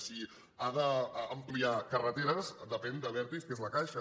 si ha d’ampliar carreteres depèn d’abertis que és la caixa